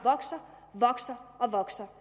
vokser og vokser